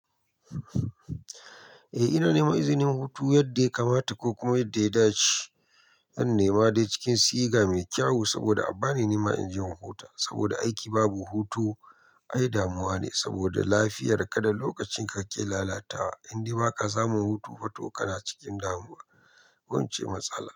Eh, ina nema izinin hutu yadda ya kamata ko kuma yadda ya dace. Zan nema dai cikin siga mai kyau saboda abba ne nema inje in huta saboda aiki babu hutu ai damuwa ne saboda lafiyar ka da lokacin ka ke lalatawa. In de baka samu hutu, fa to kana cikin damuwa. Wance matsala.